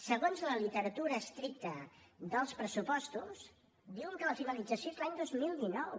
segons la literatura estricta dels pressupostos diuen que la finalització és l’any dos mil dinou